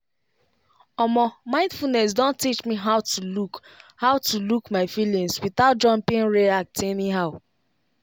omo mindfulness don teach me how to look how to look my feelings without jumping react anyhow.